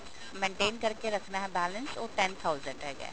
maintain ਕਰਕੇ ਰੱਖਣਾ ਹੈ balance ਉਹ ten thousand ਹੈਗਾ